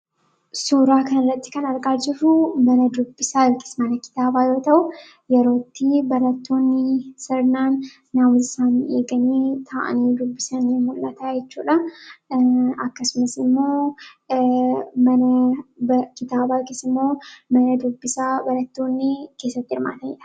Suuraa kanarratti kan argaa jirru mana kitaabaa yoo ta'u, yeroo itti barattoonni naamusa isaanii eeganii taa'anii dubbisan mul'ata jechuudha. Akkasumas immoo mana kitaabaa keessa immoo mana dubbisaa barattoonni itti hirmaatanidha.